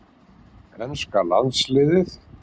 Enska landsliðið?